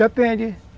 Depende.